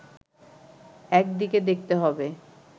একদিকে দেখতে হবে